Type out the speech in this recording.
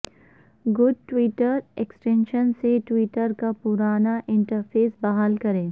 good Twitter extension سے Twitter کا پرانا انٹرفیس بحال کریں